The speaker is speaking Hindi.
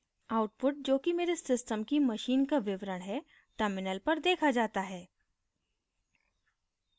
output जो कि मेरे system की machine का विवरण है terminal पर देखा जाता है